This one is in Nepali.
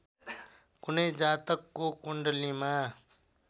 कुनै जातकको कुण्डलीमा